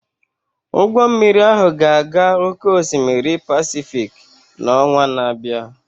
Ụgbọ mmiri ahụ ga-aga oke osimiri Pasifik n'ọnwa na-abịa